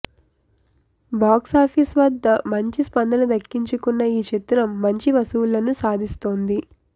box office వద్ద మంచి స్పందన దక్కించుకున్న ఈ చిత్రం మంచి వసూళ్లను సాధిస్తోంది